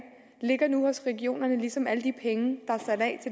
ligger nu hos regionerne ligesom alle de penge